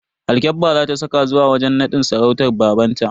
Alkyabba za ta saka zuwa wajen nadin sarautar babanta.